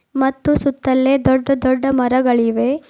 ಮತ್ತು ಸುತ್ತಲ್ಲೇ ದೊಡ್ಡ ದೊಡ್ಡ ಮರಗಳಿವೆ.